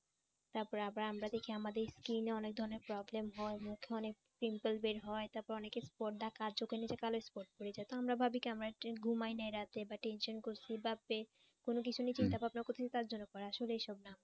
তারপরে আবার আমরা দেখি আমাদের skin এ অনেক ধরনের problem হয় মুখে অনেক pimple বের হয় তারপরে অনেকের পর ডাক চোখের নিচে কালো spot পড়ে যায় তো আমরা ভাবি কি আমরা একটু ঘুমাই নাই রাতে বা tension করছি বা পেট কোন কিছু নিয়ে চিন্তা ভাবনা করছি তার জন্য আসলে এসব না